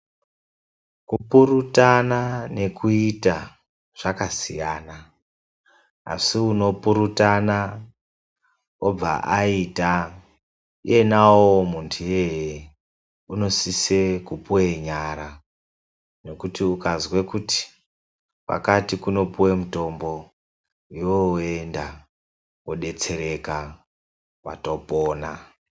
Kupurutana nekuita zvakasiyana, asi unopurutana obva aita iyena uwowo muntu iyeye unosise kupuwe nyara nekuti ukazwe kuti, kwakati kunopuwe mutombo iwewe woenda wodetsereka watopona.